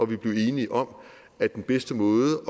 vi blev enige om at den bedste måde